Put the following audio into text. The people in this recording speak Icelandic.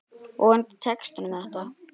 Vonandi tekst honum þetta.